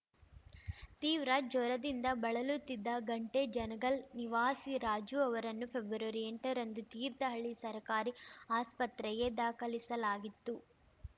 ತೀವ್ರ ಜ್ವರದಿಂದ ಬಳಲುತ್ತಿದ್ದ ಘಂಟೆ ಜನಗಲ್‌ ನಿವಾಸಿ ರಾಜು ಅವರನ್ನು ಫೆಬ್ರವರಿಎಂಟರಂದು ತೀರ್ಥಹಳ್ಳಿ ಸರ್ಕಾರಿ ಆಸ್ಪತ್ರೆಗೆ ದಾಖಲಿಸಲಾಗಿತ್ತು